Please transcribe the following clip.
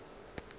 ge a be a šetše